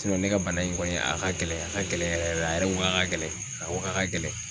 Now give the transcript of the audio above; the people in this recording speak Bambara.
ne ka bana in kɔni a ka gɛlɛn a ka gɛlɛn yɛrɛ yɛrɛ a yɛrɛ ko k'a ka gɛlɛn, a ko k'a ka gɛlɛn.